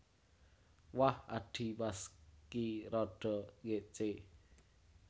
Wah adhimas ki rada ngécé